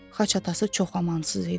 Xaç atası çox amansız idi.